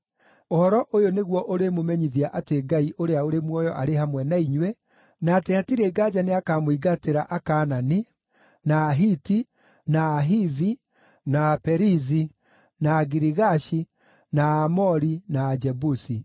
Ũhoro ũyũ nĩguo ũrĩmũmenyithia atĩ Ngai ũrĩa ũrĩ muoyo arĩ hamwe na inyuĩ, na atĩ hatirĩ nganja nĩakamũingatĩra Akaanani, na Ahiti, na Ahivi, na Aperizi, na Agirigashi, na Aamori, na Ajebusi.